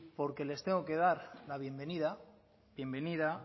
porque les tengo que dar la bienvenida bienvenida